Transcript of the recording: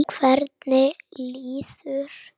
Hvernig líður henni núna?